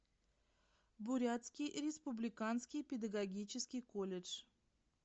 бурятский республиканский педагогический колледж